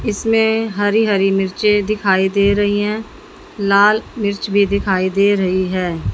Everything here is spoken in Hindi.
इसमें हरी हरी मिर्चे दिखाई दे रही हैं लाल मिर्च भी दिखाई दे रही हैं।